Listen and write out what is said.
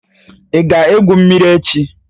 Ị ga-egwu mmiri echi?